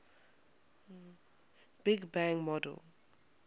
big bang model